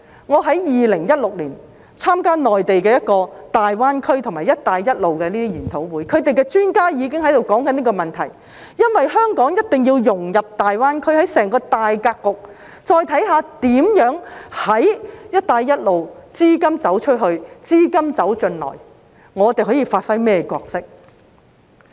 我在2016年參加內地一個大灣區和"一帶一路"研討會的時候，場內專家已開始討論這個問題，因為香港一定要融入大灣區，看看在整個大格局中，"一帶一路"如何"資金走出去、資金走進來"，當中我們可以發揮甚麼角色。